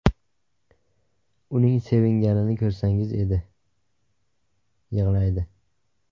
Uning sevinganini ko‘rsangiz edi (yig‘laydi).